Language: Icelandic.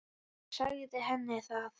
Hann sagði henni það.